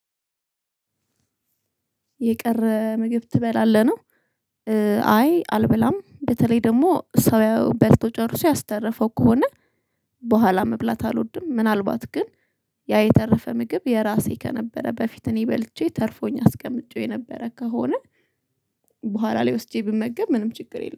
የቀረ ምግብ ትበላለህ ነው? አይ አልብላም በተለይ ደግሞ ሰውየ በልቶ ጨርሶ ያስተረፈው ከሆነ በኋላ መብላት አልወድም። ምናልባት ግን ያ የተረፈ ምግብ የራሴ ከነበረ በፊት እኔ በልቼ ተርፎኝ አስቀምጬው የነበረ ከሆነ በኋላ ላይ ወስጄ ብመገብ ምንም ችግር የለም